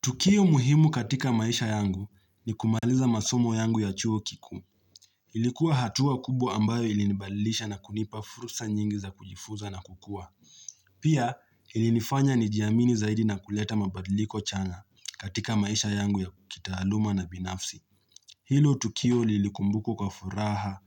Tukio muhimu katika maisha yangu ni kumaliza masomo yangu ya chuo kikuu. Ilikuwa hatua kubwa ambayo ilinibadilisha na kunipa fursa nyingi za kujifunza na kukua. Pia ilinifanya nijiamini zaidi na kuleta mabadiliko chanya katika maisha yangu ya kitaluma na binafsi. Hilo tukio lilikumbuko kwa furaha